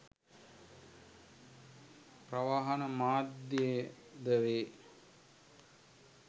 ප්‍රවාහන මාධ්‍යයද වේ.